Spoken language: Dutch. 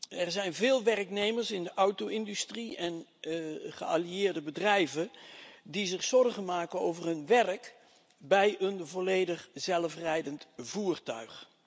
Er zijn veel werknemers in de auto industrie en daaraan verbonden bedrijven die zich zorgen maken over hun werk bij een volledig zelfrijdend voertuig.